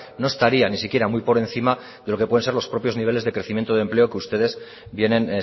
no estaría ni siquiera muy por encima de lo que pueden ser los propios niveles de crecimiento de empleo que ustedes vienen